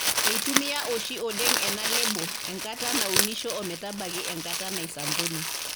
Eitumia oshi oleng ena lebo enkata naunisho o metabaiki enkata naisambuni.